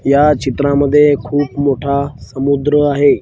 या चित्रांमध्ये खूप मोठा समुद्र आहे.